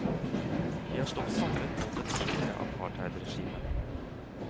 De har stått samlet mot det tidligere apartheidregimet.